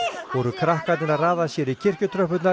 voru krakkarnir að raða sér í